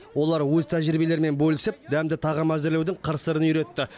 олар өз тәжірибелерімен бөлісіп дәмді тағам әзірлеудің қыр сырын үйретті